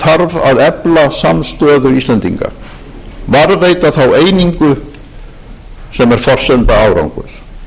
þarf að efla samstöðu íslendinga varðveita þá einingu sem er forsenda árangurs